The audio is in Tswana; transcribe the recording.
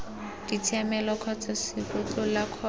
ditshiamelo kgotsa cgo tlola kgotsa